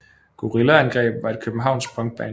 Gorilla Angreb var et københavnsk punkband